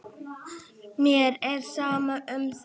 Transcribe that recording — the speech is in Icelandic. Mér er sama um það.